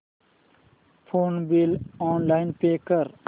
phone bill online pay कर